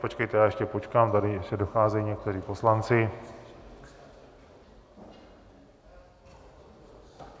Počkejte, já ještě počkám, tady ještě docházejí někteří poslanci.